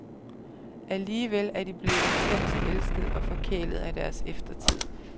Alligevel er de blevet intenst elsket og forkælet af deres eftertid.